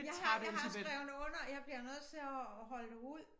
Jeg har jeg har skrevet under jeg bliver nødt til at holde det ud